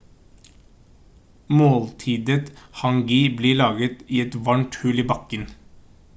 måltidet hangi blir laget i et varmt hull i bakken